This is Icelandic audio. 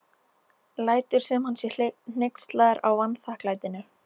Lætur sem hann sé hneykslaður á vanþakklætinu.